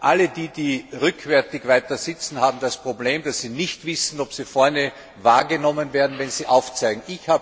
Alle die, die weiter hinten sitzen, haben das Problem, dass sie nicht wissen, ob sie vorne wahrgenommen werden, wenn sie aufzeigen.